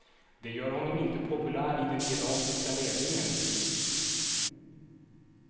Det gör honom inte populär i den irakiska ledningen.